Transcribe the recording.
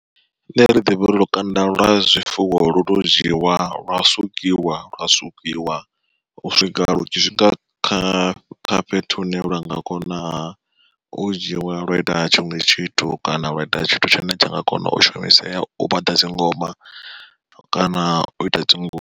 Nṋe ri ḓivha uri lukanda lwa zwifuwo lu to dzhiiwa lwa sukiwa lwa sukiwa u swika lu tshi swika kha kha fhethu hune lwa nga konaha u dzhiwa lwa ita tshiṅwe tshithu kana lwa ita tshithu tshine tsha nga kona u shumisea u vhaḓa dzingoma kana u ita dzingu.